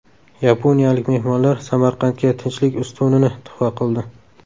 Yaponiyalik mehmonlar Samarqandga Tinchlik ustunini tuhfa qildi.